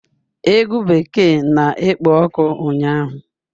Egwu bekee na-ekpo ọkụ ụnyaahụ